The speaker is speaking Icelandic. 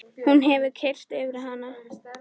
Hún hefur keyrt yfir hann!